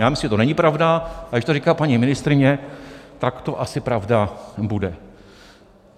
Já myslím, že to není pravda, ale když to říká paní ministryně, tak to asi pravda bude.